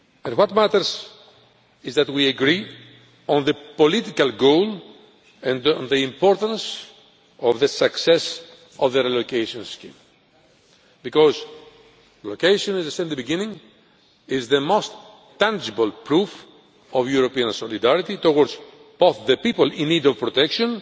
What matters is that we agree on the political goal and on the importance of the success of the relocation scheme, because relocation, as I said at the beginning, is the most tangible proof of European solidarity towards both the people in need of protection,